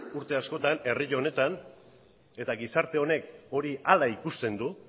urte askotan herri honetan eta gizarte honek hori hala ikusten du